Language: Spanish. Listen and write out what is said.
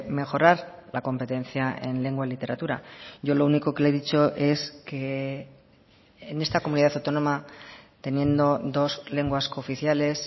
mejorar la competencia en lengua y literatura yo lo único que le he dicho es que en esta comunidad autónoma teniendo dos lenguas cooficiales